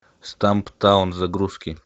стамптаун загрузки